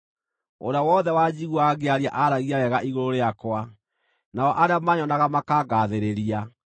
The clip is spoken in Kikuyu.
Ũrĩa wothe wanjiguaga ngĩaria aaragia wega igũrũ rĩakwa, nao arĩa maanyonaga makangaathĩrĩria,